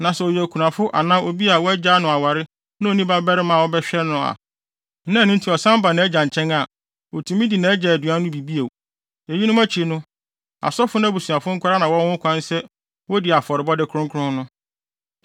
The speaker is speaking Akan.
Na sɛ ɔyɛ okunafo anaa obi a wɔagyaa no aware na onni babarima a ɔbɛhwɛ no na ɛno nti ɔsan ba nʼagya nkyɛn a, otumi di nʼagya aduan no bi bio. Eyinom akyi no, asɔfo no abusuafo nko ara na wɔwɔ ho kwan sɛ wodi afɔrebɔde kronkron no.